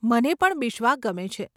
મને પણ બિશ્વા ગમે છે.